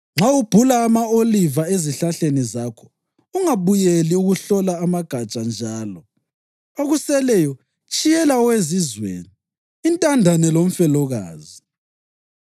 Nxa ubhula ama-oliva ezihlahleni zakho ungabuyeli ukuhlola amagatsha njalo. Okuseleyo tshiyela owezizweni, intandane lomfelokazi.